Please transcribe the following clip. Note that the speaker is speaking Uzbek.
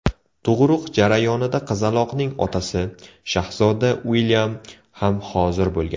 Tug‘uruq jarayonida qizaloqning otasi, shahzoda Uilyam ham hozir bo‘lgan.